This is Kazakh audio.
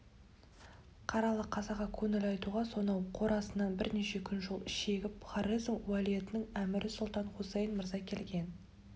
қаралы қазаға көңіл айтуға сонау қорасаннан бірнеше күн жол шегіп хорезм уәлиетінің әмірі сұлтан хусаин мырза келген